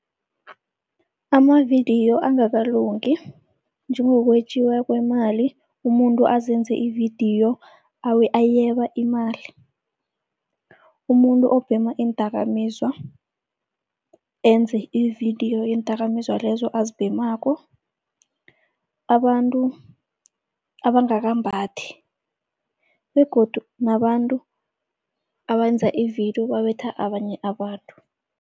Amavidiyo angakalungi njengokwetjiwa kwemali, umuntu azenze ividiyo ayeba imali. Umuntu obhema iindakamizwa, enze ividiyo yeendakamizwa lezo azibhemako. Abantu abangakambathi begodu nabantu abayenza ividiyo babetha abanye abantu.